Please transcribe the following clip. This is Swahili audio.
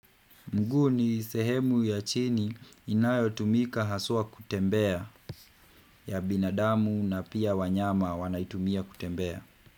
Mguu ni sehemu ya chini inayotumika haswa kutembea ya binadamu na pia wanyama wanaitumia kutembea.